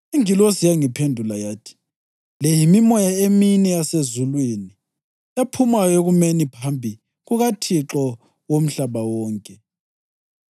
Ingilosi yangiphendula yathi, “Le yimimoya emine yasezulwini, ephumayo ekumeni phambi kukaThixo womhlaba wonke.